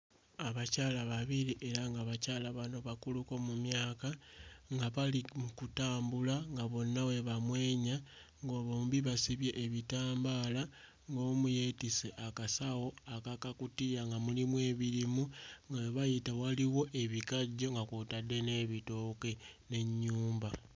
Abakyala babiri era nga bakyala bano bakuluko mu myaka nga bali mu kutambula nga bonna bwe bamwenya ngo bombi basibye ebitambaala ng'omu yeetisse akasawo ak'akakutiya nga mulimu ebirimu nga we bayita waliwo ebikajjo nga kw'otadde n'ebitooke n'ennyumba.